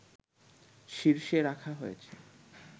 শীর্ষে রাখা হয়েছে